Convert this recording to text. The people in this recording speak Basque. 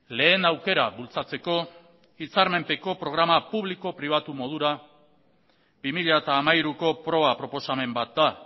lehen aukera bultzatzeko hitzarmenpeko programa publiko pribatu modura bi mila hamairuko proba proposamen bat da